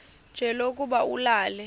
nje lokuba ulale